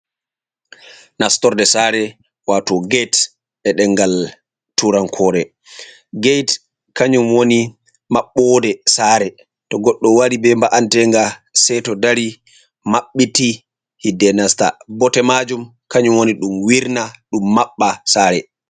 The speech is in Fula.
Nastorde sare, wato get, e ɗengal turankore, get kanyum woni maɓɓode sare, to goɗdo wari be mba'antenga sei to dari maɓɓiti hidde nasta, bote majum kanyum woni ɗum wirna ɗum maɓɓa sare.